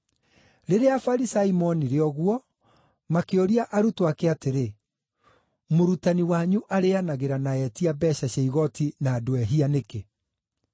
Rĩrĩa Afarisai moonire ũguo, makĩũria arutwo ake atĩrĩ, “Mũrutani wanyu arĩĩanagĩra na etia mbeeca cia igooti na andũ ehia nĩkĩ?”